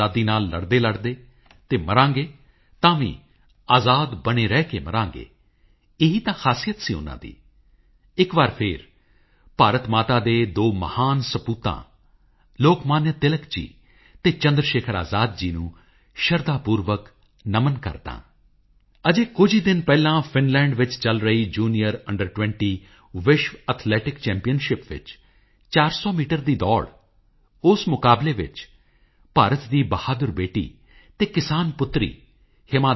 ਸਵੱਛ ਭਾਰਤ ਦੀ ਇਸ ਹਮੇਸ਼ਾ ਯਾਦ ਰਹਿਣ ਵਾਲੀ ਯਾਤਰਾ ਵਿੱਚ ਮਨ ਕੀ ਬਾਤ ਦੇ ਸਰੋਤਿਆਂ ਦਾ ਵੀ ਬਹੁਤ ਵੱਡਾ ਯੋਗਦਾਨ ਰਿਹਾ ਹੈ ਅਤੇ ਇਸੇ ਲਈ ਤਾਂ ਤੁਹਾਡੇ ਸਾਰਿਆਂ ਨਾਲ ਇਹ ਗੱਲ ਸਾਂਝੀ ਕਰਦਿਆਂ ਖੁਸ਼ੀ ਹੋ ਰਹੀ ਹੈ ਕਿ 5 ਲੱਖ 50 ਹਜ਼ਾਰ ਤੋਂ ਜ਼ਿਆਦਾ ਪਿੰਡਾਂ ਅਤੇ 600 ਜ਼ਿਲ੍ਹਿਆਂ ਨੇ ਖੁਦ ਨੂੰ ਖੁੱਲ੍ਹੇ ਵਿੱਚ ਸ਼ੌਚਮੁਕਤ ਐਲਾਨ ਕਰ ਦਿੱਤਾ ਹੈ ਅਤੇ ਭਾਰਤ ਦੇ ਪਿੰਡਾਂ ਵਿੱਚ ਸਵੱਛਤਾ ਕਵਰੇਜ 98 ਨੂੰ ਪਾਰ ਕਰ ਗਈ ਹੈ ਅਤੇ ਤਕਰੀਬਨ 9 ਕਰੋੜ ਪਰਿਵਾਰਾਂ ਨੂੰ ਸ਼ੌਚਾਲਿਆ ਦੀ ਸੁਵਿਧਾ ਉਪਲੱਬਧ ਕਰਵਾਈ ਗਈ ਹੈ